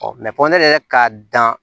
fɔ ne yɛrɛ ka dan